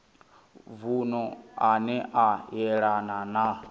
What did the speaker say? vunu ane a yelana na